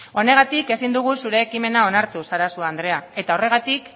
honegatik ezin dugu zure ekimena onartu sarasua andrea horregatik